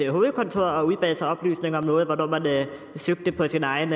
hovedkontor og udbad sig oplysninger om noget og hvornår man søgte på sin egen